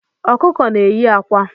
Ọkụkọ na-eyi akwa